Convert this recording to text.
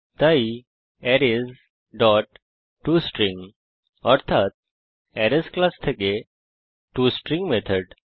তাই arrays dot tostring অর্থাত arrays class থেকে টস্ট্রিং মেথড